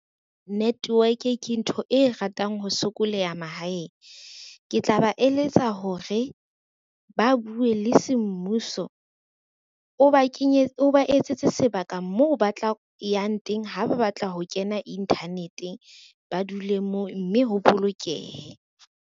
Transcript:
Network ke ntho e ratang ho sokoleha mahaeng. Ke tla ba eletsa hore ba bue le semmuso, o ba etsetse sebaka moo ba tla yang teng ha ba batla ho kena inthanete, ba dule moo mme ho bolokehe.